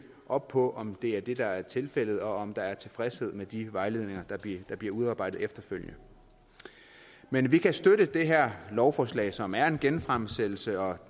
op på om det også er det der er tilfældet og om der er tilfredshed med de vejledninger der bliver udarbejdet efterfølgende men vi kan støtte det her lovforslag som er en genfremsættelse og